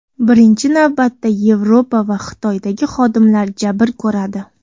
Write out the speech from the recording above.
Birinchi navbatda Yevropa va Xitoydagi xodimlar jabr ko‘radi.